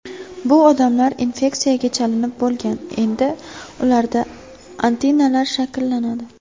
Bu odamlar infeksiyaga chalinib bo‘lgan, endi ularda antitanalar shakllanadi.